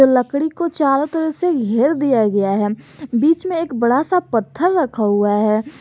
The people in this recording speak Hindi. लकड़ी को चारों तरफ से घेर दिया गया है बीच में एक बड़ा सा पत्थर रखा हुआ है।